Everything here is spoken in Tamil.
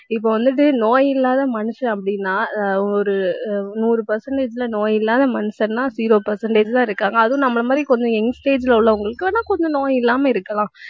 இப்ப வந்துட்டு நோய் இல்லாத மனுஷன் அப்படின்னா ஆஹ் ஒரு நூறு percentage ல நோய் இல்லாத மனுஷன்னா zero percentage தான் இருக்காங்க. அதுவும் நம்மளை மாதிரி கொஞ்சம் young stage ல உள்ளவங்களுக்கு ஆனா, கொஞ்சம் நோய் இல்லாம இருக்கலாம்